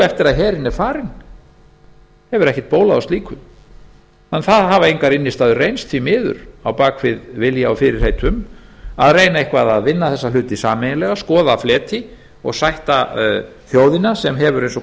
eftir að herinn er farinn þá hefur ekkert bólað á slíku það hafa því engar innstæður reynst því miður á bak við vilja og fyrirheit um að reyna eitthvað að vinna þessa hluti sameiginlega skoða fleti og sætta þjóðina sem hefur eins og